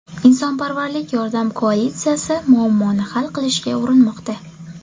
Insonparvarlik yordam koalitsiyasi muammoni hal qilishga urinmoqda.